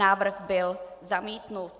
Návrh byl zamítnut.